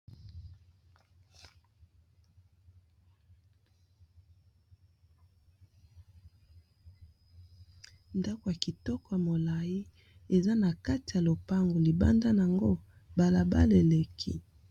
Ndako ya kitoko ya molayi, eza na kati ya lopango libanda nango bala bala eleki.